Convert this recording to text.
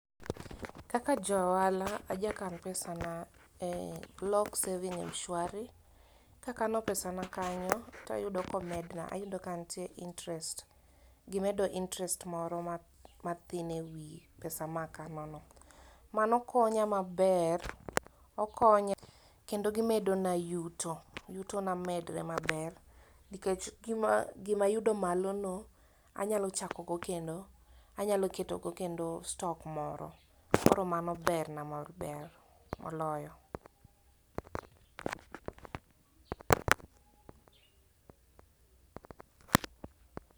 Kaka ja ohala, aja kan pesa na e lock saving M-shwari, kakano pesa na kanyo tayudo komedna ayudo kantie interest, gimedo interest moro mathin ewi pesa makanono. Mano konya maber, okonya kendo gimedona yuto. Yutona medre maber nikech gimayudo malono anyalo chakogo kendo, anyaloketogo kendo stock moro. Koro mano berna maber moloyo.